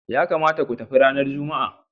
Ya kamata ku tafi ranar Juma'a.